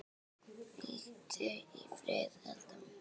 Hvíldu í friði, Edda mín.